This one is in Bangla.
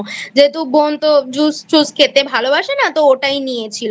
যেহেতু বোন তো Juice খেতে ভালোবাসে না তো ওটাই নিয়েছিল।